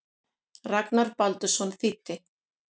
Ragnar Baldursson þýddi.